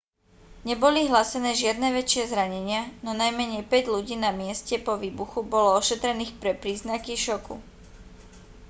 neboli hlásené žiadne väčšie zranenia no najmenej päť ľudí na mieste po výbuchu bolo ošetrených pre príznaky šoku